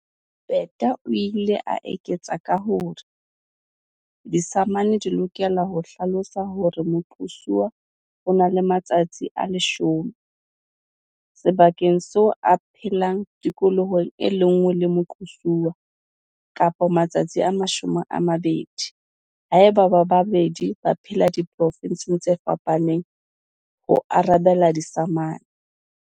Peta o ile a eketsa ka hore, "Disamane di lokela ho hlalosa hore moqosuwa o na le matsatsi a 10 - sebakeng seo a phelang tikolohong e le nngwe le moqosi, kapa matsatsi a 20 - haeba bao ba babedi ba phela diprovenseng tse fapaneng, ho arabela disamane."